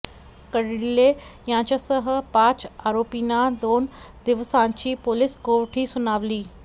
कर्डिले यांच्यासह पाच आरोपींना दोन दिवसांची पोलिस कोठडी सुनावली